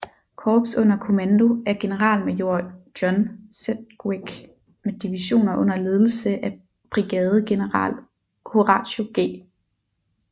Korps under kommando af generalmajor John Sedgwick med divisioner under ledelse af brigadegeneral Horatio G